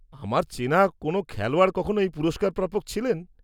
-আমার চেনা কোন খেলোয়াড় কখনো এই পুরস্কারপ্রাপক ছিলেন?